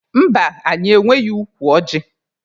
Mba, anyị enweghị ukwu ọjị.